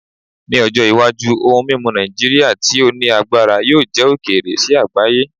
Ni ojo iwaju ohun mimu Naijiria ti o ni agbara yoo jẹ okeere si agbaye